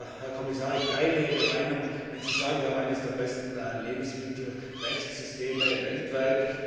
Sehr geehrter Herr Kommissar, ich teile Ihre Meinung, wenn Sie sagen, wir haben eines der besten Lebensmittelrechtssysteme weltweit.